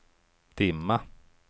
dimma